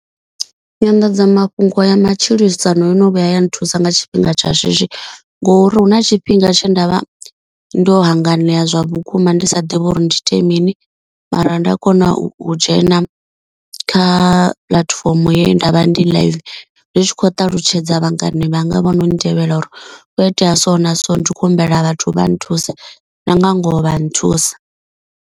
Nyanḓadzamafhungo ya matshilisano yo no vhuya ya nthusa nga tshifhinga tsha shishi. Ngo uri hu na tshifhinga tshe ndavha ndo hanganea zwa vhukuma ndi sa ḓivhi uri ndi ite mini. Mara nda kona u tshi dzhena kha puḽatifomo ye ndavha ndi live. Ndi tshi khou ṱalutshedza vhangana vhanga vhono ntevhela uri hukho itea so na so ndi khou humbela vhathu vha nthuse na nga ngoho vha nthusa.